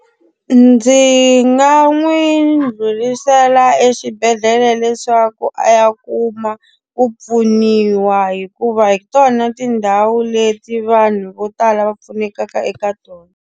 Ndzi nga n'wi ndhlurisela exibedhlele leswaku a ya kuma ku pfuniwa hikuva hi tona tindhawu leti vanhu vo tala va pfunekaka eka tona.